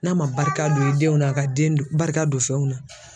N'a man barika don i denw na a ka den don barika don fɛnw na.